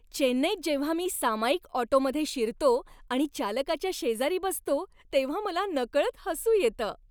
चेन्नईत जेव्हा मी सामायिक ऑटोमध्ये शिरतो आणि चालकाच्या शेजारी बसतो तेव्हा मला नकळत हसू येतं.